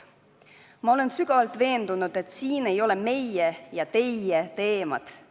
Ma olen sügavalt veendunud, et siin ei ole meie ja teie teemasid.